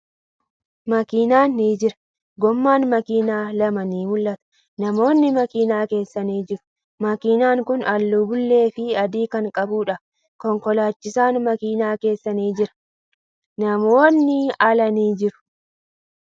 Makiinan ni jira. Goomman makiinaa lama ni mul'ata. Namoonni makiinaa keessa ni jiru. Makiinan kuni haalluu bulee fii adii kan qabduudha. Konkolaachisaan makiinaa keessa ni jira. Namoonni ala ni jiru.